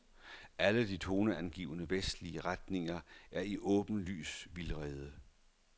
Alle de toneangivende vestlige regeringer er i åbenlys vildrede.